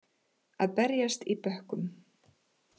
Að berjast í bökkum